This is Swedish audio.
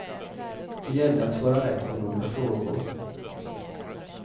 Det gällde att svara rätt på några frågor.